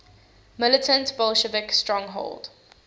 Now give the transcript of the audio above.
militant bolshevik stronghold